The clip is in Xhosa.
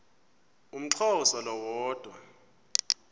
umxhosa lo woda